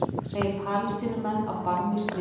Segir Palestínumenn á barmi stríðs